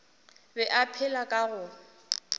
be a phela ka go